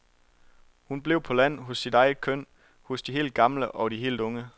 Hun blev på land, hos sit eget køn, hos de helt gamle og de helt unge.